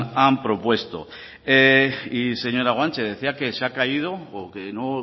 han propuesto y señora guanche decía que se ha caído o que no